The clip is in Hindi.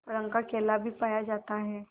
रंग का केला भी पाया जाता है